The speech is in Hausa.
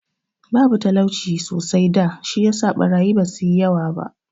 Babu talauci sosai da, shi yasa ɓarayi ba su yi yawa ba.